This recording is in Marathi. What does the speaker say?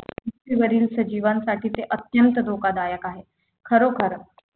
पृथ्वीवरील सजीवांसाठी ते अत्यंत धोकादायक आहे खरोख